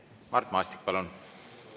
Mart Maastik, palun!